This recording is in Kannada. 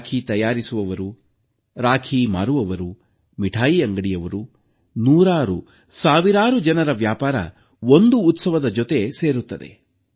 ರಾಖಿ ತಯಾರಿಸುವವರು ರಾಖಿ ಮಾರುವವರು ಮಿಠಾಯಿ ಅಂಗಡಿಯವರು ನೂರಾರು ಸಾವಿರಾರು ಜನರ ವ್ಯಾಪಾರ ಒಂದು ಉತ್ಸವದ ಜೊತೆ ಸೇರುತ್ತದೆ